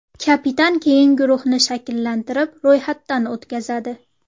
Kapitan keyin guruhni shakllantirib, ro‘yxatdan o‘tkazadi.